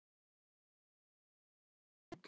Kæri Dagur.